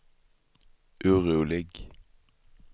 orolig